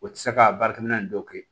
O tɛ se ka baarakɛminɛ dɔ kɛ